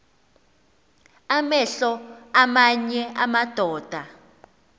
amehlo aamanye amadoda